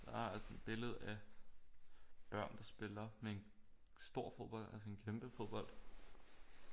Jeg har sådan et billede af børn der spiller med en stor fodbold altså en kæmpe fodbold